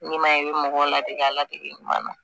N'i m'a ye i bɛ mɔgɔw ladege ɲuman na